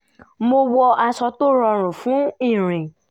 mo wọ aṣọ tó rọrùn fún ìrìn